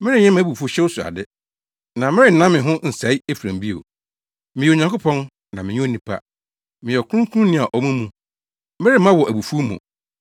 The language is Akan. Merenyɛ mʼabufuwhyew so ade, na merennan me ho nsɛe Efraim bio. Meyɛ Onyankopɔn na menyɛ onipa. Meyɛ Ɔkronkronni a ɔwɔ mo mu. Meremma wɔ abufuw mu.